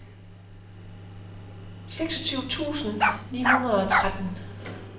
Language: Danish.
seksogtyve tusind ni hundrede og tretten